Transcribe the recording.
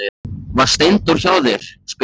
Var Steindór hjá þér, spyr Alma.